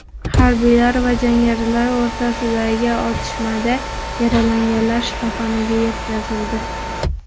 Harbiylar va jangarilar o‘rtasidagi otishmada yaralanganlar shifoxonaga yetkazildi.